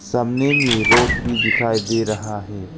सामने में रोप भी दिखाई दे रहा है।